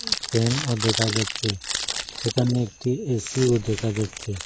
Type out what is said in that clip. ফ্যানও দেখা যাচ্ছে সেখানে একটি এসিও দেখা যাচ্ছে।